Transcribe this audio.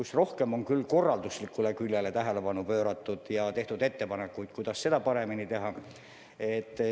Selles on rohkem korralduslikule küljele tähelepanu pööratud ja tehtud ettepanekuid, kuidas seda paremini teha.